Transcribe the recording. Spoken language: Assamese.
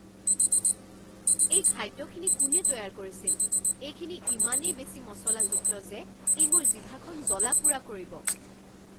এই খাদ্যখিনি কোনে তৈয়াৰ কৰিছিল? এইখিনি ইমানেই বেছি মচলাযুক্ত যে ই মোৰ জিভাখন জ্বলা পোৰা কৰিব।